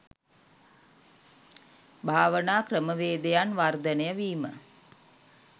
භාවනා ක්‍රමවේදයන් වර්ධනය වීම